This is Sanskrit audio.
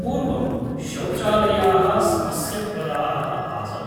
पूर्वं शौचालयाः समस्याप्रदाः आसन्।